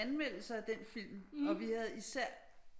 Anmeldelser af den film og vi havde især